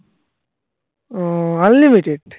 ও unlimited